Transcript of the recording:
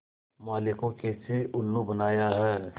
माली को कैसे उल्लू बनाया है